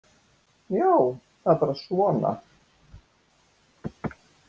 Já, það er bara svona.